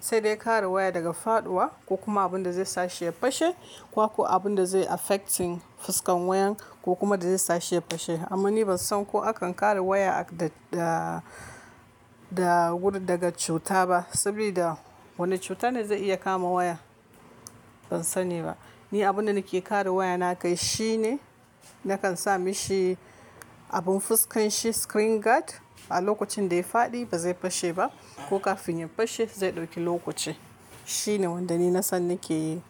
sai dai kare waya daga faɗuwa ko kuma abunda zai sace ya fashe ko ko abunda zai affecting fuskan wayan ko kuma da zai sa shi ya fashe. Amma ni ban san ko akan kare waya da, da, da gudu daga cuta ba. Sabida wane cuta ne zai iya kama waya? Ban sani ba. Ni abunda nake kare waya na kai shine nakan sa mishi abun fuskan shi screen guard. A lokacin da ya faɗi ba zai fashe ba ko kafin ya fashe zai ɗauki lokaci. Shine wanda ni na san nake yi.